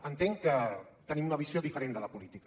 entenc que tenim una visió diferent de la política